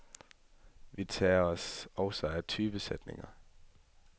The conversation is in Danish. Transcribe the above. Vi tager os også af typesætning.